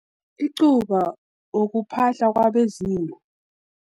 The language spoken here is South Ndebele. Icuba, ukuphahla kwabezimu.